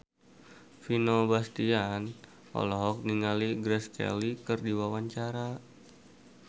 Vino Bastian olohok ningali Grace Kelly keur diwawancara